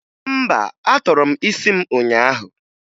Mba, atọrọ m isi m ụnyaahụ